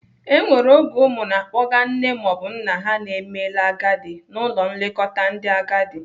E nwere oge ụmụ na-akpọga nne maọbụ nna ha na-emela agadi n'ụlọ nlekọta ndị agadi.